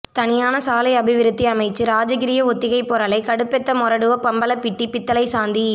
தனியான சாலை அபிவிருத்தி அமைச்சு ராஜகிரிய ஒத்திகை பொரலை கடுபெத்த மொரடுவ பம்பலப்பிட்டி பித்தளைச் சந்தி